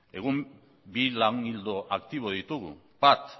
egun bi lan ildo aktibo ditugu bat